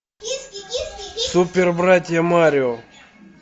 супербратья марио